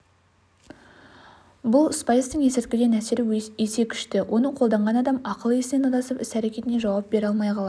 бұл спайстың есірткіден әсері есе күшті оны қолданған адам ақыл-есінен адасып іс-әрекетіне жауап бере алмай қалады